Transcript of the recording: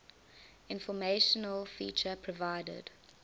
informational feature provided